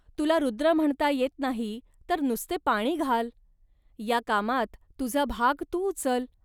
तुला रुद्र म्हणता येत नाही, तर नुसते पाणी घाल. या कामात तुझा भाग तू उचल